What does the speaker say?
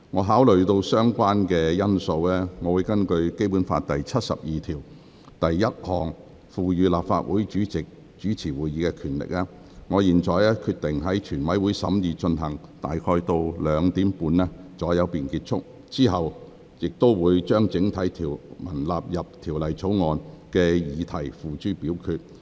考慮到所有相關因素，並根據《基本法》第七十二條第一項賦予立法會主席主持會議的權力，我現在決定，全體委員會審議階段進行至下午2時30分左右便結束，之後會將整體條文納入《條例草案》的議題付諸表決。